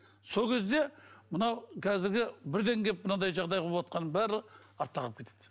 сол кезде мынау қазіргі бірден келіп мынандай жағдай боватқанның бәрі артта қалып кетеді